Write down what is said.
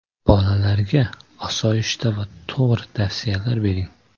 Bolalarga osoyishta va to‘g‘ri tavsiyalar bering.